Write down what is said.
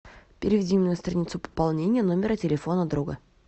переведи меня на страницу пополнения номера телефона друга